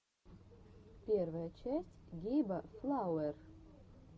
первая часть гейба флауэр